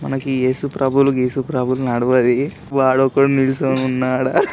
మనకు ఏసుప్రభులు గీసుప్రభులు నడువది వాడు ఒకడు నిలుచొని ఉన్నాడు.